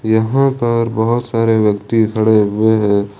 यहां पर बहोत सारे व्यक्ति खड़े हुए हैं।